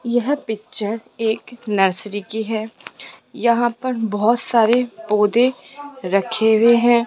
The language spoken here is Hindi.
यह पिक्चर एक नर्सरी की है यहां पर बहोत सारे पौधे रखे हुए हैं।